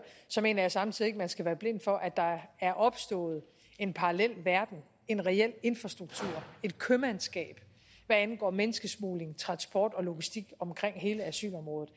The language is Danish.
mener jeg samtidig at man ikke skal være blind for at der er opstået en parallel verden en reel infrastruktur et købmandskab hvad angår menneskesmugling transport og logistik på hele asylområdet